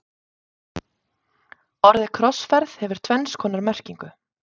orðið krossferð hefur tvenns konar merkingu